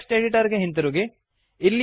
text editor ಗೆ ಹಿಂತಿರುಗಿ